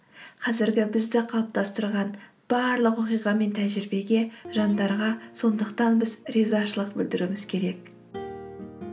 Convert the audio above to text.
қазіргі бізді қалыптастырған барлық оқиға мен тәжірибеге жандарға сондықтан біз ризашылық білдіруіміз керек